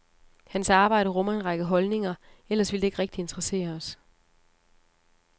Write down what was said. Hans arbejde rummer en række holdninger, ellers ville det ikke rigtig interessere os.